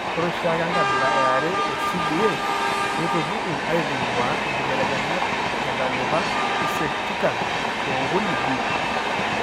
Ore oshiake enkabila eare eCDA neitupuku aitung'uaa inkibelekenyat tentalipa eSECtikitan ookuni B.